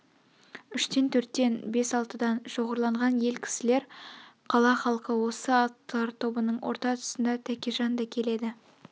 үштен төрттен бес-алтыдан шоғырланған ел кісілер қала халқы осы аттылар тобының орта тұсында тәкежан да келеді